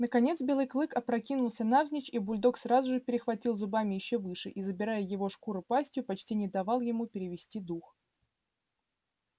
наконец белый клык опрокинулся навзничь и бульдог сразу же перехватил зубами ещё выше и забирая его шкуру пастью почти не давал ему перевести дух